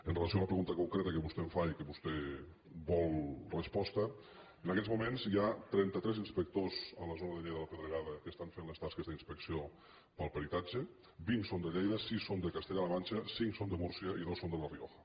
amb relació a la pregunta concreta que vostè em fa i de la qual vostè vol resposta en aquests moments hi ha trenta tres inspectors a la zona de lleida de la pedregada que fan les tasques d’inspecció per al peritatge vint són de lleida sis són de castella la manxa cinc són de múrcia i dos són de la rioja